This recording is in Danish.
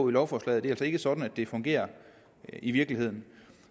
lovforslaget ikke sådan det fungerer i virkeligheden